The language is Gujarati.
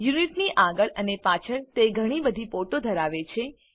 યુનિટની આગળ અને પાછળ તે ઘણી બધી પોર્ટો ધરાવે છે